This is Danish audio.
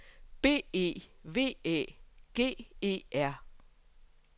B E V Æ G E R